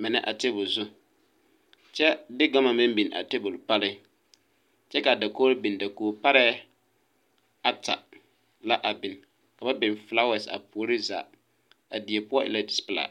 mine a tabol zu kyɛ de gama meŋ biŋ a tabol pare kyɛ kaa dakogro biŋ dakog parreɛɛ ata la a biŋ ka ba biŋ flaawas a puoriŋ zaa a die poɔ e la pilaa.